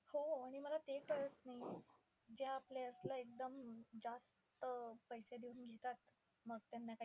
हो आणि मला ते कळत नाहीये, ज्या आपले असलं एकदम जास्त पैसे देऊन घेतात मग त्यांना,